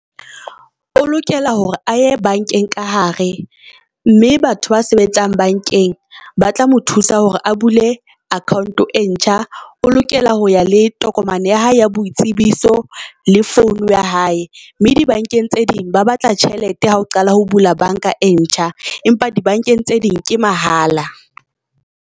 O lokela hore a ye bank-eng ka hare mme batho ba sebetsang bankeng ba tla mo thusa hore a bule account e ntjha, o lokela ho ya letho tokomane ya hae ya boitsebiso le phone ya hae. Mme di bank-eng tse ding, ba batla tjhelete ha o qala ho bula bank-a e ntjha empa di bank-eng tse ding ke mahala.